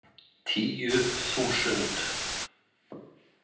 Tíu þúsund